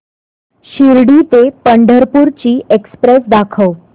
शिर्डी ते पंढरपूर ची एक्स्प्रेस दाखव